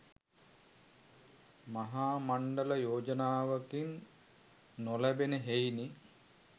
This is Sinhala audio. මහා මණ්ඩල යෝජනාවකින් නොලැබෙන හෙයිනි.